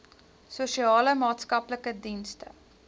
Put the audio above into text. sosiale maatskaplike dienste